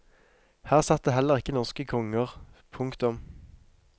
Her satt det heller ikke norske konger. punktum